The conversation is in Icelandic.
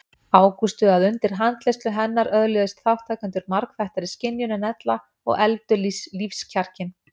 Ágústu að undir handleiðslu hennar öðluðust þátttakendur margþættari skynjun en ella og efldu lífskjarkinn.